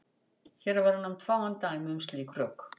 Hér verða nefnd fáein dæmi um slík rök.